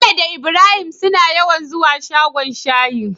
bello da ibrahim suna yawan zuwa shagon shayi